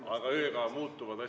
Aga ööga asjad muutuvad.